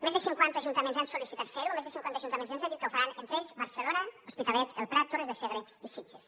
més de cinquanta ajuntaments han sol·licitat fer ho més de cinquanta ajuntaments ens han dit que ho faran entre ells barcelona hospitalet el prat torres de segre i sitges